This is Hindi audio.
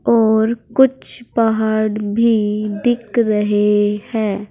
और कुछ पहाड़ भी दिख रहे हैं।